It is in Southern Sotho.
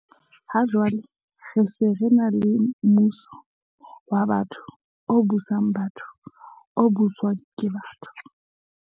Ha jwale re se re ena le mmuso wa batho, o busang batho, o buswang ke batho.